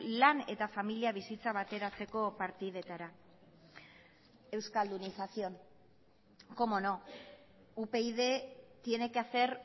lan eta familia bizitza bateratzeko partidetara euskaldunización cómo no upyd tiene que hacer